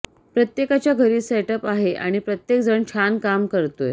प्रत्येकाच्या घरी सेटअप आहे आणि प्रत्येक जण छान काम करतोय